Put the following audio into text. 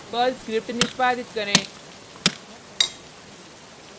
Perl script निष्पादित करें